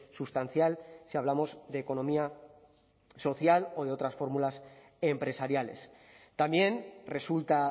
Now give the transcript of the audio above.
sustancial si hablamos de economía social o de otras fórmulas empresariales también resulta